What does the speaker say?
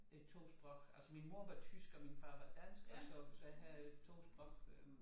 Øh 2 sprog altså min mor var tysk og min far var dansk og så så jeg havde 2 sprog øh